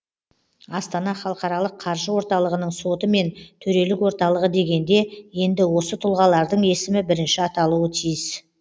астана халықаралық қаржы орталығының соты мен төрелік орталығы дегенде енді осы тұлғалардың есімі бірінші аталуы тиіс